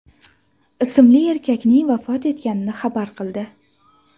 ismli erkakning vafot etganini xabar qildi .